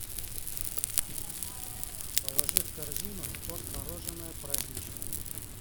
положи в корзину торт мороженое праздничный